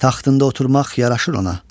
Taxtında oturmaq yaraşır ona.